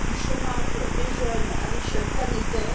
du chômage des jeunes à l'échelle planétaire,